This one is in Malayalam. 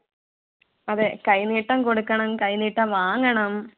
അതെ കൈനീട്ടം കൊടുക്കണം കൈ നീട്ടം വാങ്ങണം